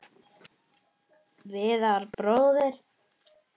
Viðar bróðir.